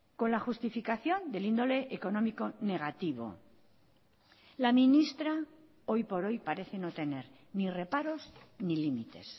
con la justificación del índole económico negativo la ministra hoy por hoy parece no tener ni reparos ni límites